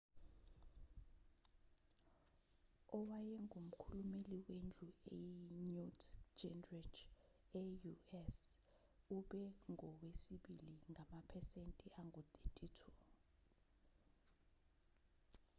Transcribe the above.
owayengumkhulumeli wendlu i-newt gingrich e-u.s. ube ngowesibili ngamaphesenti angu-32